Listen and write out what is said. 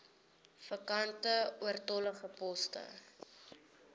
vakante oortollige poste